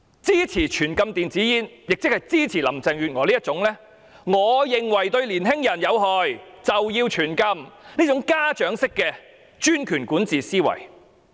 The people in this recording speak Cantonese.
支持全面禁止電子煙，即是支持林鄭月娥這種只要認為是對年青人有害，便要全面禁止的家長式專權管治思維。